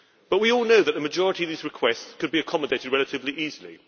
We all know that the majority of these requests could be accommodated relatively easily.